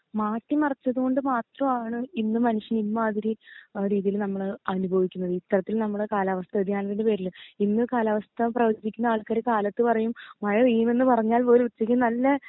മാറ്റി മറിച്ചത്തൊണ്ട് മാത്രാണ് ഇന്ന് മനുഷ്യൻ ഇമ്മാതിരി ഏഹ് രീതീല് നമ്മൾ അനുഭവിക്കുന്നത് ഇത്തരത്തിൽ നമ്മളെ കാലാവസ്ഥ വേദിയാനത്തിന്റെ പേരിൽ ഇന്ന് കാലാവസ്ഥ പ്രവചിക്ക്ണ ആൾക്കാര് കാലത്ത് പറയി മഴ പെയ്യുമെന്ന് പറഞ്ഞാൽ പോലും ഉച്ചക്ക് നല്ല